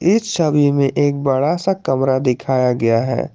इस छवि में एक बड़ा सा कमरा दिखाया गया है।